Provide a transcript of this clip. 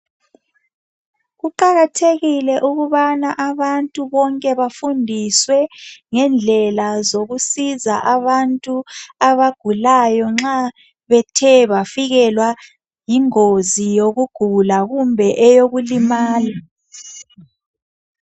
Kuqakathekile ukubana abantu bonke bafundiswe ngendlela zokusiza abantu abagulayo nxa bethe bafikelwa yingozi yokugula kumbe eyokulimala.